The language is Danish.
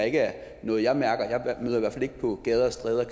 ikke er noget jeg mærker jeg møder i ikke på gader og stræder